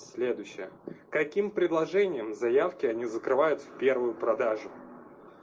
следующая каким предложением заявки они закрывают в первую продажу